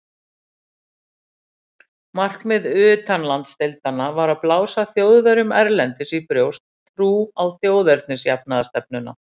Markmið utanlandsdeildanna var að blása Þjóðverjum erlendis í brjóst trú á þjóðernisjafnaðarstefnuna.